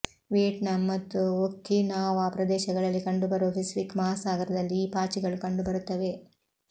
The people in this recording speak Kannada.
ವಿಯೆಟ್ನಾಂ ಮತ್ತು ಒಕಿನಾವಾ ಪ್ರದೇಶಗಳಲ್ಲಿ ಕಂಡುಬರುವ ಪೆಸಿಫಿಕ್ ಮಹಾಸಾಗರದಲ್ಲಿ ಈ ಪಾಚಿಗಳು ಕಂಡುಬರುತ್ತವೆ